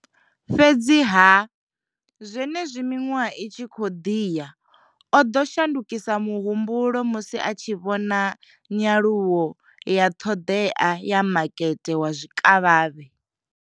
Fhedziha zwenezwi miṅwaha i tshi khou ḓi ya oḓo shandukisa muhumbulo musi a tshi vhona nyaluwo ya ṱhoḓea ya makete wa zwikavhavhe.